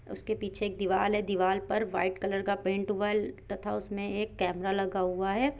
उसके पीछे एक दिवाल हैं। दिवाल पर वाइट कलर का पेन्ट हुअल तथा उसमें एक कमेरा लगा हुआ हैं।